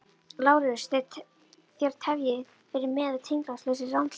LÁRUS: Þér tefjið fyrir með tilgangslausri rannsókn.